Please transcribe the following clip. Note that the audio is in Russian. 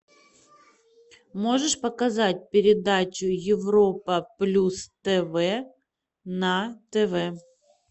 можешь показать передачу европа плюс тв на тв